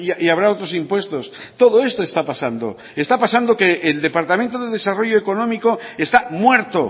y habrá otros impuestos todo esto está pasando y está pasando que el departamento de desarrollo económico está muerto